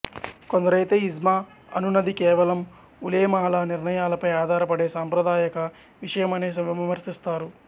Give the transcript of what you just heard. కొందరైతే ఇజ్మా అనునది కేవలం ఉలేమాల నిర్ణయాలపై ఆధారపడే సాంప్రదాయక విషయమని విమర్శిస్తారు